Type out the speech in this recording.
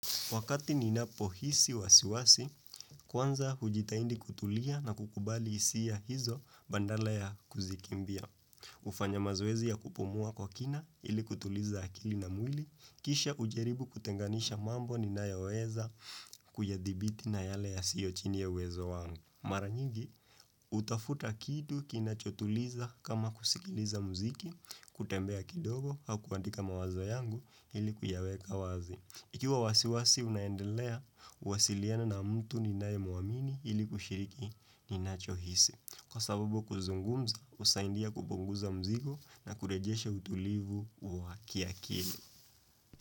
Wakati ninapo hisi wasiwasi, kwanza hujitahidi kutulia na kukubali hisia hizo bandala ya kuzikimbia. Hufanya mazoezi ya kupumua kwa kina ili kutuliza akili na mwili, kisha ujaribu kutenganisha mambo ninayaweza kuyadibiti na yale ya siyo chini ya wezo wangu. Mara nyingi, hutafuta kitu kina chotuliza kama kusikiliza mziki, kutembea kidogo hakuandika mawazo yangu ili kuyaweka wazi. Ikiwa wasiwasi unaendelea, uwasiliana na mtu ninaye muamini ili kushiriki ni nacho hisi. Kwa sababu kuzungumza, husaidia kupunguza mzigo na kurejesha utulivu wa kiakili.